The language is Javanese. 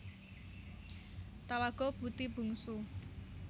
Talago Puti Bungsu